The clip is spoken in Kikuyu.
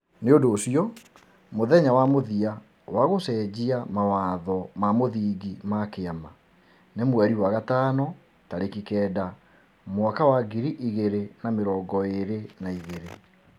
Nĩ ũndũ ũcio, mũthenya wa mũthia wa gũcenjia mawatho ma mũthingi ma kĩama nĩ Mĩĩ kenda mwaka wa ngiri igĩrĩ na mĩrongo ĩrĩ na igĩrĩ.